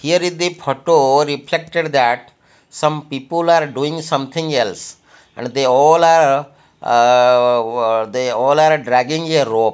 here is the photo reflected that some people are doing something else and they all are aa they all are dragging a rope.